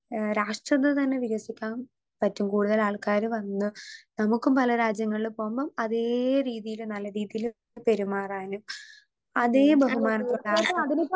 Speaker 2 ഏ രാഷ്ട്രത്തെ തന്നെ വികസിക്കാം പറ്റും കൂടുതലാൾക്കാര് വന്ന് നമുക്കും പല രാജ്യങ്ങളിലും പോകുമ്പം അതേ രീതീല് നല്ല രീതീല് പെരുമാറാനും അതേ ബഹുമാനത്തോടെ .